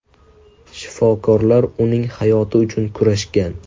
Shifokorlar uning hayoti uchun kurashgan.